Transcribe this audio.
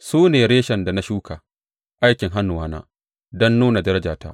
Su ne reshen da na shuka, aikin hannuwana, don nuna darajata.